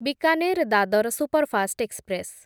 Bikaner Dadar superfast express